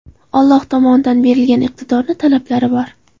Alloh tomonidan berilgan iqtidorni talablari bor.